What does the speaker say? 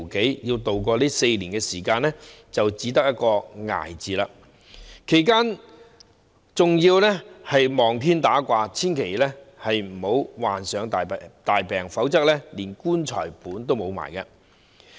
他們要渡過這4年時間，便只得一個字——"捱"，其間還要"望天打卦"，祈求自己千萬不要患上大病，否則連"棺材本"也會花掉。